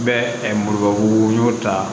Bɛ muruba